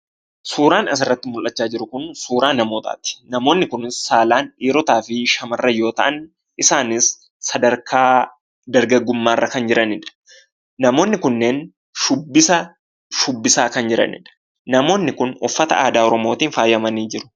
Suuraan asirratti mul'achaa jiru kun suuraa namootaati, namoonni kunis saalaan dhiirotaafi shamarran yoo ta'an isaanis sadarkaa dargaggummaa irra kan jiranidha. Namoonni kunneen shubbisa, shubbisaa kan jiranidha. Namoonni kunniin uffata aadaa Oromootiin faayamanii jiru.